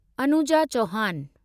Anuja Chauhan